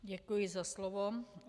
Děkuji za slovo.